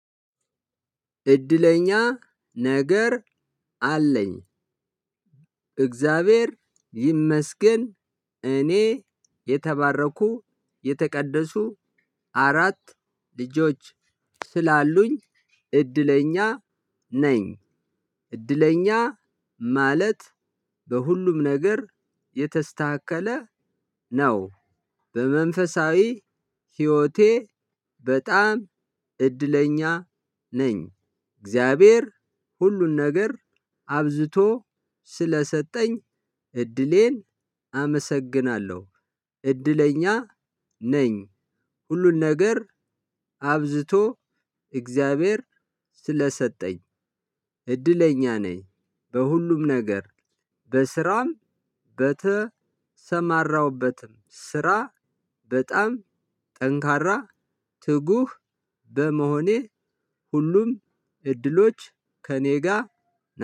እድለኛ ነገር አለኝ። እግዚአብሔር ይመስገን እኔ የተባረኩ የተቀደሱ አራት ልጆች ስላሉኝ እድለኛ ነኝ። እድለኛ ማለት በሁሉም ነገር የተስተካከለ ነው በመንፈሳዊ ህይወቴ በጣም እድለኛ ነኝ። እግዚአብሔር ሁሉን ነገር አብዝቶ ስለሰጠኝ እድሌን አመሰግናለሁ እድለኛ ነኝ። ሁሉ ነገር አብዝቶ እግዚአብሔር ስለሰጠኝ እድለኛ ነኝ። በሁሉም ነገር በስራም በተሰማራሁበትም ስራ በጣም ጠንካራ ትጉህ በመሆኔ ሁሉም እድሎች ከእኔ ጋር